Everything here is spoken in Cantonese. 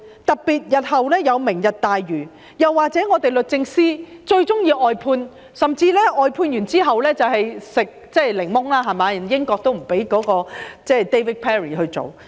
例如，日後有"明日大嶼願景"，又或是律政司最喜歡外判，甚至外判之後"食檸檬"，連英國也不准許 David PERRY 接受委任。